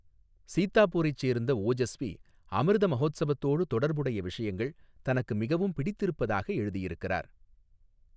சீத்தாபூரைச் சேர்ந்த ஓஜஸ்வி, அமிர்த மஹோத்சவத்தோடு தொடர்புடைய விஷயங்கள் தனக்கு மிகவும் பிடித்திருப்பதாக எழுதியிருக்கிறார்.